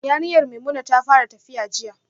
Yarinyar Maimuna ta fara tafiya jiya